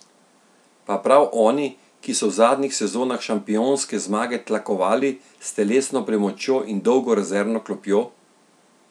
Pa prav oni, ki so v zadnjih sezonah šampionske zmage tlakovali s telesno premočjo in dolgo rezervno klopjo!